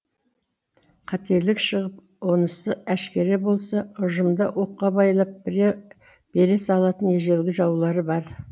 қателік шығып онысы әшкере болса ұжымда оққа байлап бере салатын ежелгі жаулары бар